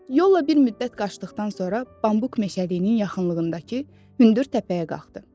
Yolla bir müddət qaçdıqdan sonra bambuk meşəliyinin yaxınlığındakı hündür təpəyə qalxdı.